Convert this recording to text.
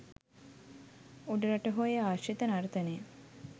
උඩරට හෝ එය ආශ්‍රිත නර්තනය